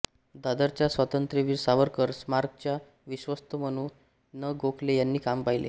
दादरच्या स्वातंत्र्यवीर सावरकर स्मारकाचे विश्वस्त म्हणू न गोखले यांनी काम पाहिले